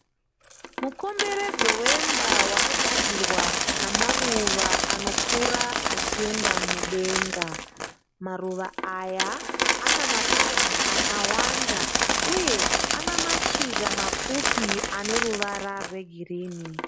Mukomberedzo wemba wakagadzirwa namaruva anokura achienda mudenga. Maruva aya ana mapazi akawanda, uye ana mashizha mapfupi ane ruvara rwegirini.